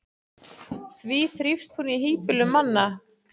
því þrífst hún í hýbýlum manna